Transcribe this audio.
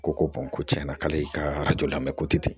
Ko ko ko tiɲɛna k'ale ka lamɛn ko tɛ ten